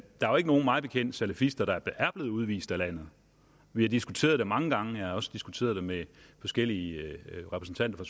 mig bekendt salafister der er blevet udvist af landet vi har diskuteret det mange gange og også diskuteret det med forskellige repræsentanter